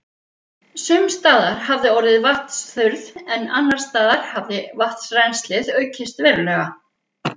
Sums staðar hafði orðið vatnsþurrð, en annars staðar hafði vatnsrennslið aukist verulega.